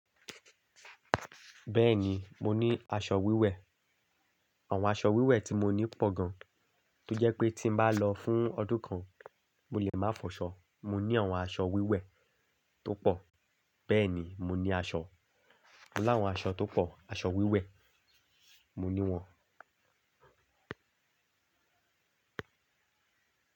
Bẹ́ẹ̀ni, mo ní aṣọ wíwẹ̀. Àwọn aṣọ wíwẹ̀ tí mo ní pọ̀ gan, tó jẹ́ pé tí bá lọ fún ọdún kan, mo lè má fọsọ̀ Mo ní àwọn aṣọ wíwẹ̀ tó pọ̀, bẹ́ẹ̀ni mo ní aṣọ. Láwọn aṣọ tó pọ̀, aṣọ wíwẹ̀ mo ní wọn.